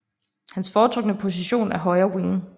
Hans foretrukne position er højre wing